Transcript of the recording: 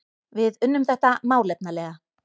Við unnum þetta málefnalega